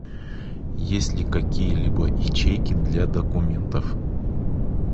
есть ли какие либо ячейки для документов